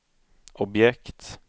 objekt